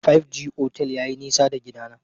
Five G otel yayi nisa da gidana.